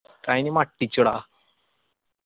അയിന് മട്ടിച്ച് ടാ